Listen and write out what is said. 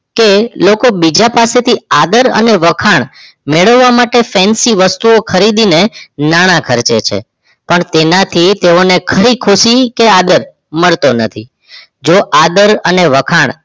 કે લોકો બીજા પાસેથી આદર અને વખાણ મેળવવા માટે fancy વસ્તુઓ ખરીદીને નાણા ખર્ચે છે પરતું તેનાથી તેઓને ખરી ખુશી કે આદર મળતો નથી જો આદર અને વખાણ